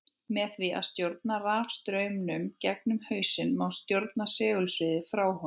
Með því að stjórna rafstraumnum gegnum hausinn má stjórna segulsviðinu frá honum.